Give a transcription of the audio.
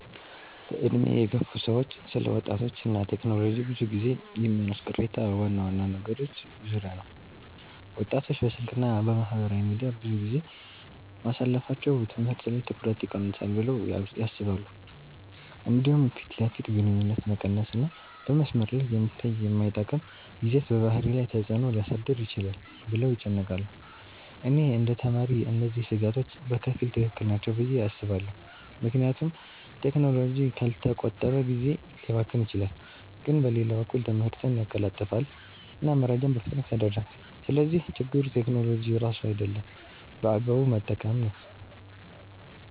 በዕድሜ የገፉ ሰዎች ስለ ወጣቶች እና ቴክኖሎጂ ብዙ ጊዜ የሚያነሱት ቅሬታ ዋና ዋና ነገሮች ዙሪያ ነው። ወጣቶች በስልክ እና በማህበራዊ ሚዲያ ብዙ ጊዜ ማሳለፋቸው ትምህርት ላይ ትኩረት ይቀንሳል ብለው ያስባሉ። እንዲሁም ፊት ለፊት ግንኙነት መቀነስ እና በመስመር ላይ የሚታይ የማይጠቅም ይዘት በባህሪ ላይ ተፅዕኖ ሊያሳድር ይችላል ብለው ይጨነቃሉ። እኔ እንደ ተማሪ እነዚህ ስጋቶች በከፊል ትክክል ናቸው ብዬ አስባለሁ፣ ምክንያቱም ቴክኖሎጂ ካልተቆጠበ ጊዜ ሊያባክን ይችላል። ግን በሌላ በኩል ትምህርትን ያቀላጥፋል እና መረጃን በፍጥነት ያደርሳል። ስለዚህ ችግሩ ቴክኖሎጂ ራሱ አይደለም፣ በአግባቡ መጠቀም ነው።